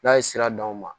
N'a ye sira d'anw ma